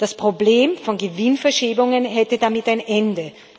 Das Problem von Gewinnverschiebungen hätte damit ein Ende.